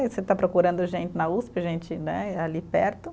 Você está procurando gente na Uspe, gente né, ali perto.